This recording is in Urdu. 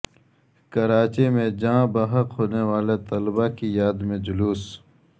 کراچی میں جان بحق ہونے والےطلباء کی یاد میں جلوس